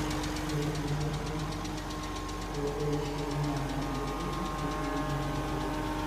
ore enchatata e-ishai na enkoitoi nitumie eretoto.